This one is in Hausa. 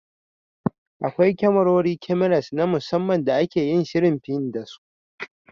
Akwai kyamarori (Cameras) na musamman da ake yin shirin fin da su.